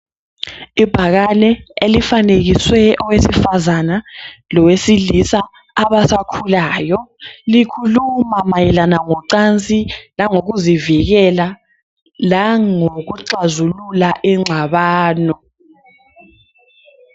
Ibhakane elifanekiswe owesifazana lowesilisa abasakhulayo likhuluma mayelana ngocansi langokuzivikela langokuxazilula ingxabano.